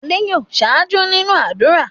Adé yòó ṣáájú nínú ádùrá.